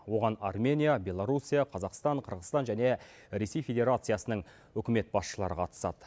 оған армения беларусия қазақстан қырғызстан және ресей федерациясының үкімет басшылары қатысады